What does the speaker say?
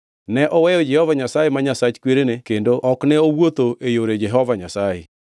Ne oweyo Jehova Nyasaye, ma Nyasach kwerene kendo ok ne owuotho e yore Jehova Nyasaye.